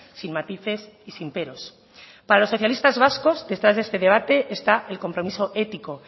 sin matices y sin peros para los socialistas vascos detrás de este debate está el compromiso ético